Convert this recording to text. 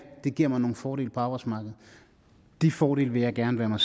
det giver mig nogle fordele på arbejdsmarkedet de fordele vil jeg gerne være mig